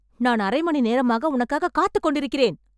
நான் அரை மணி நேரமாக உனக்காக காத்துக் கொண்டிருக்கிறேன்